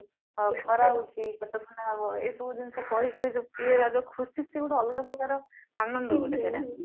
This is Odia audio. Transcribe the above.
ଆଉ ଖରା ହଉଚି ପେଟ ଥଣ୍ଡା ହବ ଏଇ ସବୁ ଜିନିଷ କହି କହି ଯୋଉ ପିଏଇବା ଯୋଉ ଖିସୀ ସିଏ ଗୋଟେ ଅଲଗା ପ୍ରକାରର ଆନନ୍ଦ ଗୋଟେ ସେଇଟା